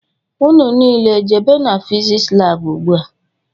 Ụnụ niile jebe n'fiziks lab ugbua!!